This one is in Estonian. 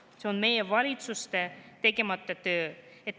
See on meie valitsuste tegemata töö.